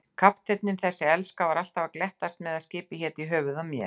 Kafteinninn, þessi elska, var alltaf að glettast með að skipið héti í höfuðið á mér.